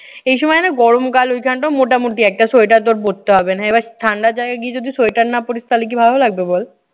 এই সময় না গরম কাল। ঐখানটা মোটামুটি একটা sweater তোর পড়তে হবে না। এইবার ঠান্ডা জায়গায় গিয়ে যদি sweater না পড়িস তাহলে কি ভালো লাগবে বল।